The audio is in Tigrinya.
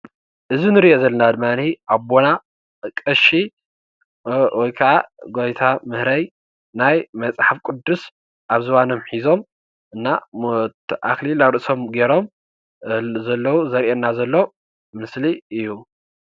እዚ እንርእዮ ዘለና ድማኒ ኣቦና ቐሺ ወይከዓ ጎይታምህረይ ናይ መፅሓፍ ቅዱስ ኣብ ዝባኖም ሒዞም እና ኣክሊል ኣብ ርእሶም ገይሮም ዘለው ዘርእየና ዘሎ ምስሊ እዩ።